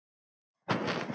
Fyrir það skal þakkað.